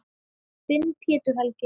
Þinn, Pétur Helgi.